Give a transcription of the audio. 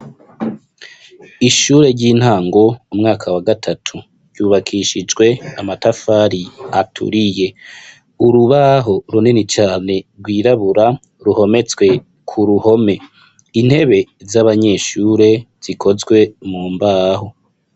Ishure ry'intango umwaka wa gatatu ryubakishijwe amatafari aturiye urubaho runini cane rwirabura ruhometswe ku ruhome intebe z'abanyeshure zikozwe mu mbaho.